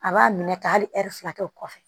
A b'a minɛ ka hali ɛri fila kɛ o kɔfɛ